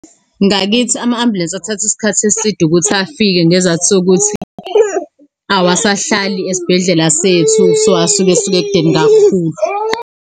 Ngakithi ama-ambulensi athatha isikhathi eside ukuthi afike, ngesizathu sokuthi awasahlali esibhedlela sethu. So, asuke esuka ekudeni kakhulu.